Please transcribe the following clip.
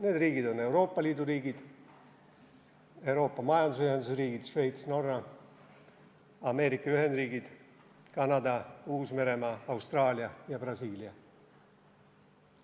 Need riigid on Euoopa Liidu riigid, Euroopa Majandusühenduse riigid, Šveits, Norra, Ameerika Ühendriigid, Kanada, Uus-Meremaa, Austraalia ja Brasiilia.